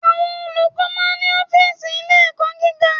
Àwọn Olùkọ́ máa ń ní Ófììsì Ilé ẹ̀kọ́ gíga